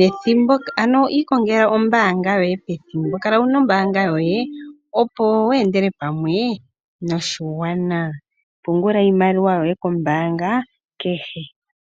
yethimbo ano ikongela ombaanga yoye pethimbo kala wuno ombaanga yoye opo weendele pamwe noshigwana pungula iimaliwa yoye kombaanga kehe.